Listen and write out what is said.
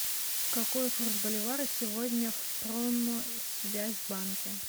какой курс боливара сегодня в промсвязьбанке